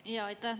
Jaa, aitäh!